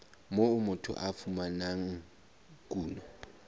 moo motho a fumanang kuno